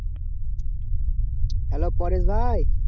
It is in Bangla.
Hello পরেশ ভাই.